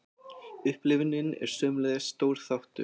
Upplifunin er sömuleiðis stór þáttur.